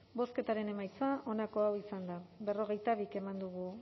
bozketaren emaitza onako izan da berrogeita bi eman dugu